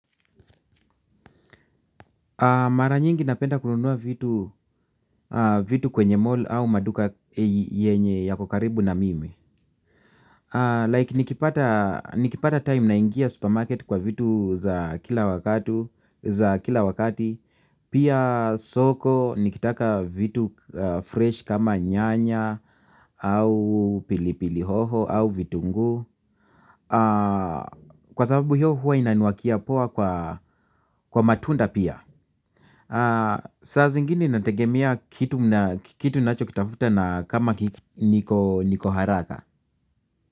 Mara nyingi napenda kununua vitu vitu kwenye mall au maduka yenye yako karibu na mimi. Like nikipata time na ingia supermarket kwa vitu za kila wakati. Pia soko nikitaka vitu fresh kama nyanya au pili pili hoho au vitunguu kwa sababu hiyo huwa inaniwakia poa kwa matunda pia. Saa zingine inategemea kitu ninacho kitafuta na kama niko haraka.